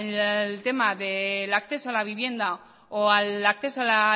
al tema del acceso a la vivienda o al acceso a la